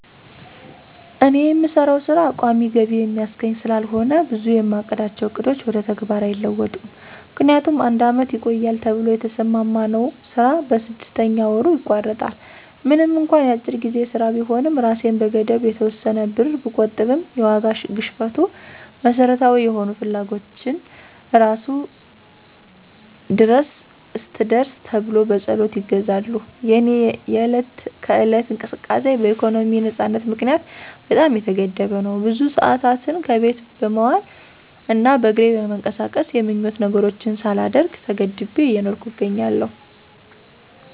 እኔ የምሰራው ሥራ ቋሚ ገቢ የሚያስገኝ ስላልሆነ ብዙ የማቅዳቸው ዕቅዶች ወደ ተግባር አይለወጡም። ምክንያቱም አንድ አመት ይቆያል ተብሎ የተሰማማነው ስራ በስድስተኛ ወሩ ይቋረጣል። ምንም እንኳ የአጭር ጊዜ ሥራ ቢሆንም እራሴን በመገደብ የተወሰነ ብር ብቆጥብም የዋጋ ግሽፈቱ መሠረታዊ የሆኑ ፍላጎቶችን እራሱ ድረስ አትድረስ ተብሎ በፀሎት ይገዛሉ። የእኔ የዕለት ከዕለት እንቅስቃሴ በኢኮኖሚ ነፃነት ምክንያት በጣም የተገደበ ነው። ብዙ ሰአታትን ከቤት በመዋል እና በእግሬ በመንቀሳቀስ የምኞት ነገሮችን ሳላደርግ ተገድቤ እየኖርኩ እገኛለሁ።